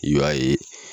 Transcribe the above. I b'a ye